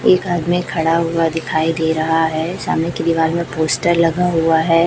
एक आदमी खड़ा हुआ दिखाई दे रहा है सामने की दीवाल में पोस्टर लगा हुआ है।